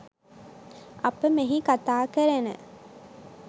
අප මෙහි කතා කරන